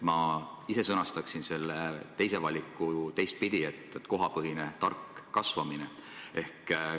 Ma ise sõnastaksin selle teise valiku teistpidi: kohapõhine tark kasvamine.